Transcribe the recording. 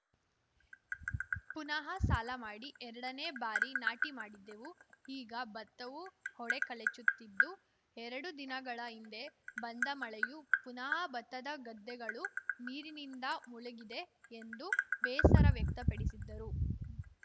ಪುನಃ ಸಾಲ ಮಾಡಿ ಎರಡನೇ ಬಾರಿ ನಾಟಿ ಮಾಡಿದ್ದೆವು ಈಗ ಭತ್ತವು ಹೊಡೆ ಕಳಚುತ್ತಿದ್ದು ಎರಡು ದಿನಗಳ ಹಿಂದೆ ಬಂದ ಮಳೆಯು ಪುನಃ ಭತ್ತದ ಗದ್ದೆಗಳು ನೀರಿನಿಂದ ಮುಳುಗಿದೆ ಎಂದು ಬೇಸರ ವ್ಯಕ್ತಪಡಿಸಿದರು